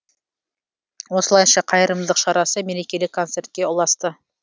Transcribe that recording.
осылайша қайырымдылық шарасы мерекелік концертке ұласты